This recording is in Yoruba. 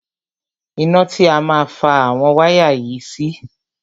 Ìta ni a má fa àwọn wáyà yìí sí.